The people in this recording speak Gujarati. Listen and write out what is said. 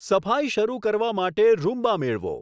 સફાઈ શરુ કરવા માટે રૂમ્બા મેળવો